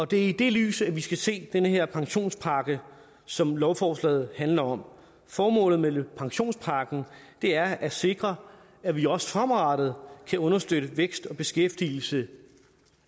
det er i det lys vi skal se den her pensionspakke som lovforslaget handler om formålet med pensionspakken er at sikre at vi også fremadrettet kan understøtte væksten og beskæftigelsen